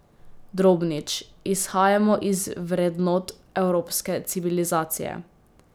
Drobnič: 'Izhajamo iz vrednot evropske civilizacije.